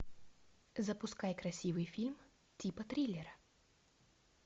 запускай красивый фильм типа триллера